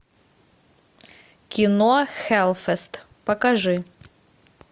кино хеллфест покажи